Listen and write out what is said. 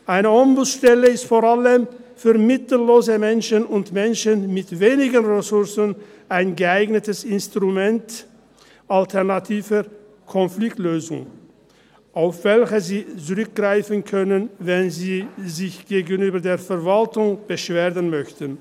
Eine Ombudsstelle ist vor allem für mittellose Menschen und Menschen mit wenig Ressourcen ein geeignetes Instrument alternativer Konfliktlösung, auf welche sie zurückgreifen können, wenn sie sich gegenüber der Verwaltung beschweren möchten.